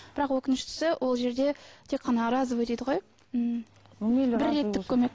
бірақ өкініштісі ол жерде тек қана разовый дейді ғой м бірреттік көмек